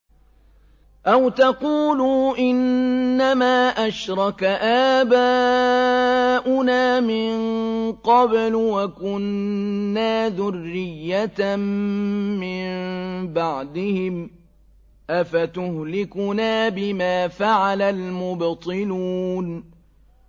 أَوْ تَقُولُوا إِنَّمَا أَشْرَكَ آبَاؤُنَا مِن قَبْلُ وَكُنَّا ذُرِّيَّةً مِّن بَعْدِهِمْ ۖ أَفَتُهْلِكُنَا بِمَا فَعَلَ الْمُبْطِلُونَ